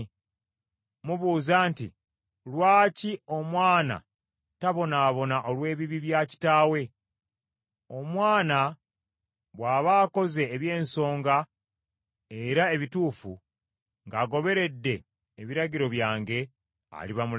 “Mubuuza nti, ‘Lwaki omwana tabonaabona olw’ebibi bya kitaawe?’ Omwana bw’aba akoze eby’ensonga era ebituufu, ng’agoberedde ebiragiro byange, aliba mulamu.